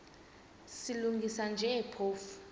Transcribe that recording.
silungisa nje phofu